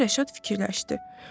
Deyə Rəşad fikirləşdi.